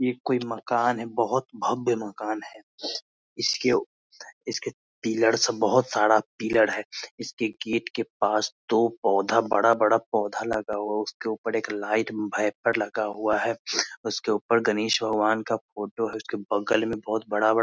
ये कोई मकान है बहुत भव्य मकान है इसके इसके पिल्लर सब बहुत सारा पिल्लर हैं इसकी गेट के पास दो पोधा बड़ा-बड़ा पोधा लगा हुआ हैं उसके ऊपर एक लाइट वाईपर लगा हुआ है उसके ऊपर गणेश भगवान का फोटो है उसके बगल में बहुत बड़ा-बड़ा --